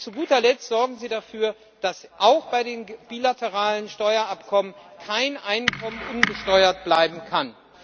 Und zu guter Letzt Sorgen Sie dafür, dass auch bei den bilateralen Steuerabkommen kein Einkommen unbesteuert bleiben kann!